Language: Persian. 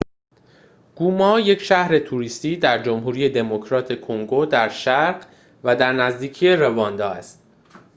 گوما یک شهر توریستی در جمهوری دموکراتیک کنگو در شرق و در نزدیکی رواندا است